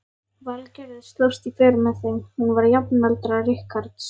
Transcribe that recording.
Valgerður slóst í för með þeim, hún var jafnaldra Richards.